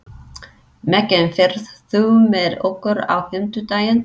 Mekkin, ferð þú með okkur á fimmtudaginn?